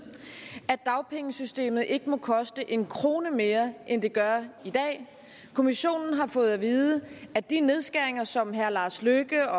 at dagpengesystemet ikke må koste en krone mere end det gør i dag kommissionen har fået at vide at de nedskæringer som herre lars løkke